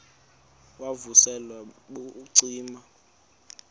wav usel ubucima